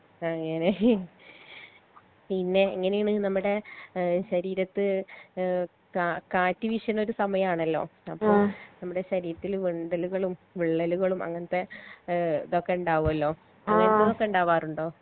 അങ്ങനെ പിന്നെ എങ്ങനേണ് നമ്മടെ ഏഹ് ശരീരത്ത് ഏഹ് കാ കാറ്റ് വിഷിണൊരു സമയണലോ അപ്പൊ നമ്മടെ ശരീരത്തിൽ വിണ്ടലുകളും വിള്ളലുകളും അങ്ങനത്തെ ഏഹ് ഇതൊക്കെ ഇണ്ടാവോലോ ഇണ്ടാവാറുണ്ടോ